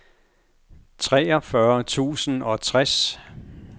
treogfyrre tusind og tres